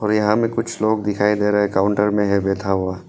और यहां में कुछ लोग दिखाई दे रहे है काउंटर में है बैठा हुआ।